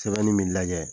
Sɛbɛnni min bi lajɛ